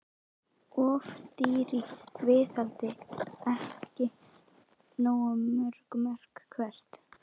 Of dýr í viðhaldi og ekki nógu mörg mörk Hvert?